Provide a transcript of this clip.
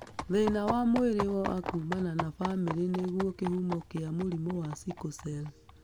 Thĩna wa mwĩrĩ wa kumana na bamĩrĩ nĩguo kĩhumo kĩa mũrimũ wa sickle cell.